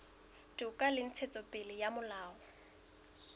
toka le ntshetsopele ya molao